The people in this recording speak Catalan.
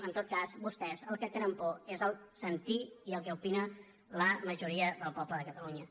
en tot cas vostès del que tenen por és del sentir i el que opina la majoria del poble de catalunya